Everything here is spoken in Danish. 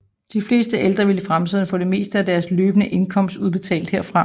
De fleste ældre vil i fremtiden få det meste af deres løbende indkomst udbetalt herfra